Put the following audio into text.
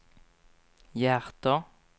hjärter